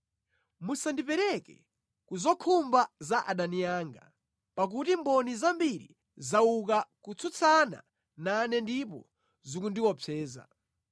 Musandipereke ku zokhumba za adani anga, pakuti mboni zambiri zauka kutsutsana nane ndipo zikundiopseza.